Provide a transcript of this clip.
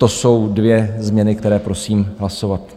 To jsou dvě změny, které prosím hlasovat.